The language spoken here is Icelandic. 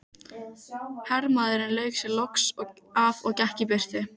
Hermaðurinn lauk sér loks af og gekk í burtu.